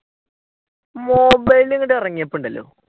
mobile അങ്ങട് ഇറങ്ങിയപ്പോ ഉണ്ടല്ലോ